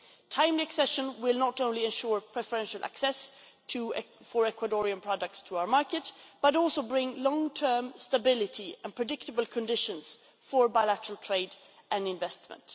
Timely accession will not only ensure preferential access for Ecuadorian products to our market but also bring long term stability and predictable conditions for bilateral trade and investment.